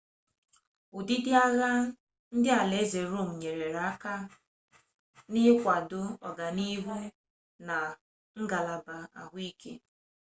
ụdịdị agha nke alaeze rome nyere aka n'ịkwado ọganihu na ngalaba ahụike